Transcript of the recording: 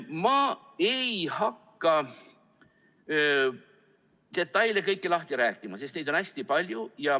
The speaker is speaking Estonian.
Ma ei hakka kõiki detaile lahti rääkima, sest neid on hästi palju.